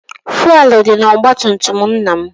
Fụelụ dị n'ọgbatumtum nna m